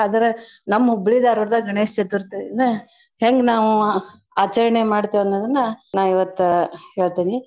ಆದ್ರೆ ನಮ್ Hubli Dharwad ದಾಗ ಗಣೇಶ್ಚತುರ್ತಿನ್ನ ಹೆಂಗ ನಾವು ಆಚರ್ಣೆ ಮಾಡ್ತಿವ್ ಅನ್ನೋದನ್ನ ನಾ ಇವತ್ತ ಹೇಳ್ತನಿ.